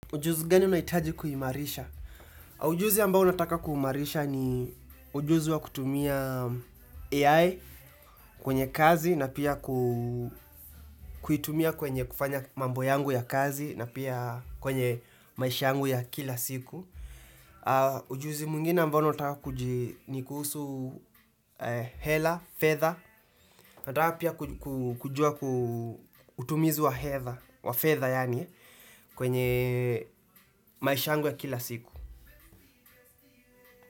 Ujuzi gani unaitaji kuimarisha? Ujuzi ambao unataka kuimarisha ni ujuzi wa kutumia AI kwenye kazi na pia kuitumia kwenye kufanya mambo yangu ya kazi na pia kwenye maisha yangu ya kila siku. Ujuzi mwengine ambao nataka ni kuhusu hela, fedha. Nataka pia kujua ku utumizi wa hedha, wa fedha yaani kwenye maisha yangy ya kila siku.